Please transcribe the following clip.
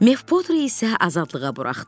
Mef Poterə isə azadlığa buraxdılar.